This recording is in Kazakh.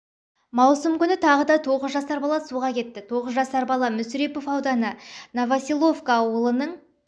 маусым күні тағы да тоғыз жасар бала суға кетті тоғыз жасар бала мүсірепов ауданы новоселовка ауылының